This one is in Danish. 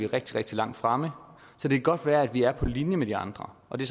rigtig rigtig langt fremme det kan godt være vi er på linje med de andre og det